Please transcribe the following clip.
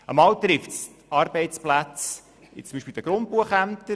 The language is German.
Einmal betrifft es Arbeitsplätze beispielsweise der Grundbuchämter;